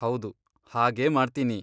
ಹೌದು, ಹಾಗೇ ಮಾಡ್ತೀನಿ.